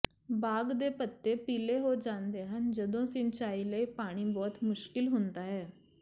ਬਾਗ ਦੇ ਪੱਤੇ ਪੀਲੇ ਹੋ ਜਾਂਦੇ ਹਨ ਜਦੋਂ ਸਿੰਚਾਈ ਲਈ ਪਾਣੀ ਬਹੁਤ ਮੁਸ਼ਕਿਲ ਹੁੰਦਾ ਹੈ